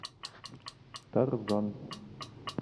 тарзан